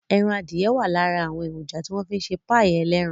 Ẹran adìye wà lára èròjà tí wọ́n fi ń ṣe páì ẹlẹ́ran